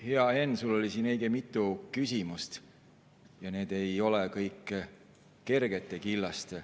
Hea Henn, sul oli õige mitu küsimust ja need ei ole kõik kergete killast.